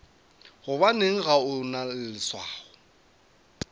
gobane ga o na leswao